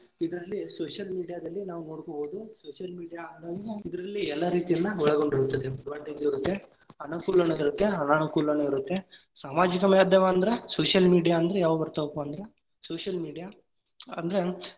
ಇದ್ರಲ್ಲಿ social media ದಲ್ಲಿ ನಾವ ನೋಡ್ಕೊಬಹುದು, social media ಇದರಲ್ಲಿ ಎಲ್ಲಾ ರೀತಿಯನ್ನಾ ಒಳಗೊಂಡಿರುತ್ತದೆ, advantage ಇರುತ್ತೆ ಅನುಕೂಲಾನು ಇರತ್ತೆ ಅನಾನುಕೂಲಾನು ಇರುತ್ತೆ ಸಾಮಾಜಿಕ ಮಾಧ್ಯಮ ಅಂದ್ರ social media ಅಂದ್ರ ಯಾವ ಬರತವಪಾ ಅಂದ್ರ social media ಅಂದ್ರ.